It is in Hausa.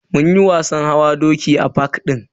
Munyi wasan hawa doki a fak din.